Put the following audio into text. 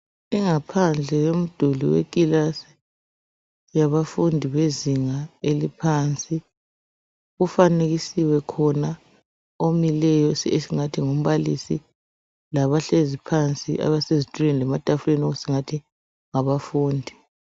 Ingaphandle yomduli wekilasi yabafundi bezinga eliphansi. Kufanekisiwe khona, omileyo. Esingathi ngumbalisi. Labahlezi phansi, ezitulweni lematafuleni, esingathi ngabafundi.